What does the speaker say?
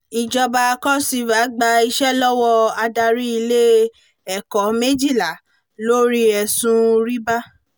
ìjọba cross river gba iṣẹ́ lọ́wọ́ adarí ilé ẹ̀kọ́ méjìlá lórí ẹ̀sùn rìbá